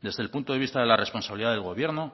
desde el punto de vista de la responsabilidad del gobierno